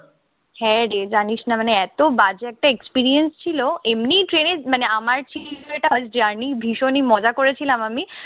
হ্যাঁ রে, জানিস না মানে এতো বাজে একটা experience ছিল এমনিই train এ মানে আমার ছিল first journey ভীষণই মজা করেছিলাম আমি।